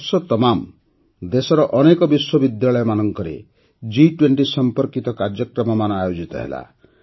ବର୍ଷତମାମ ଦେଶର ଅନେକ ବିଶ୍ୱ ବିଦ୍ୟାଳୟମାନଙ୍କରେ ଜି୨୦ ସମ୍ପର୍କିତ କାର୍ଯ୍ୟକ୍ରମମାନ ଆୟୋଜିତ ହେଲା